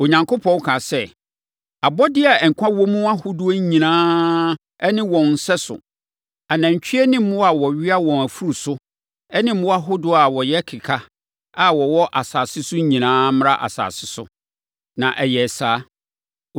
Onyankopɔn kaa sɛ, “Abɔdeɛ a nkwa wɔ mu ahodoɔ nyinaa ne wɔn sɛso, anantwie ne mmoa a wɔwea wɔn afuru so ne mmoa ahodoɔ a wɔyɛ keka a wɔwɔ asase so nyinaa mmra asase so.” Na ɛyɛɛ saa.